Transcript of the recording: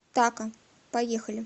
тако поехали